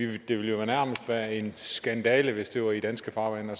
det ville jo nærmest være en skandale hvis det var i danske farvande at